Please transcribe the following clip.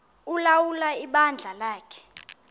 ulawula ibandla lakhe